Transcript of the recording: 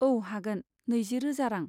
औ हागोन, नैजि रोजा रां।